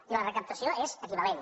i la recaptació és equivalent